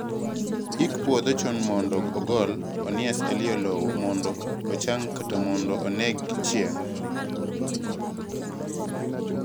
yik puodho chon mondo ogol onias eiy lowo mondo ocham kata mondo oneg gi chieng'